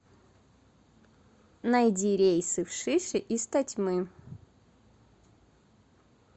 найди рейсы в шиши из тотьмы